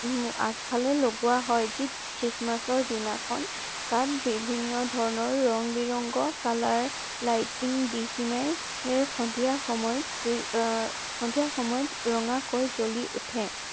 উম আগফালে লগোৱা হয় যি christmass ৰ দিনাখন তাত বিভিন্ন ধৰণৰ ৰং বিৰংগ colour lighting দি পিনাই সন্ধিয়া সময়ত সন্ধিয়া সময়ত ৰঙা কৈ জ্বলি উঠে।